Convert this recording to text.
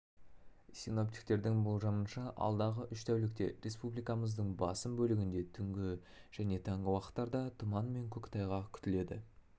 синоптиктердің болжамынша алдағы үш тәулікте республикамыздың басым бөлігінде түнгі және таңғы уақыттарда тұман мен көктайғақ күтіледі